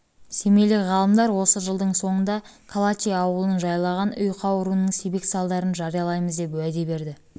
семейлік ғалымдар осы жылдың соңында калачи ауылын жайлаған ұйқы ауруының себеп салдарын жариялаймыз деп уәде берді